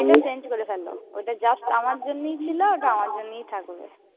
Change করে ফেলো। ওটা just আমার জন্যেই ছিল, ওটা আমার জন্যেই থাকবে।